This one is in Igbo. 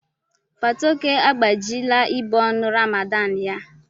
Fatoke agbajila ibu ọnụ Ramadan ya.